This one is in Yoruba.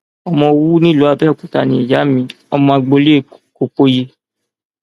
ọmọ òwú ní ìlú abẹọkútà ni ìyá mi ọmọ agboolé kọpọọyé